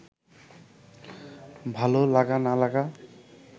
ভালো লাগা না লাগা